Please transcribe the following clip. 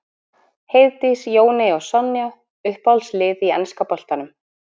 Heiðdís, Jóney og Sonja Uppáhalds lið í enska boltanum?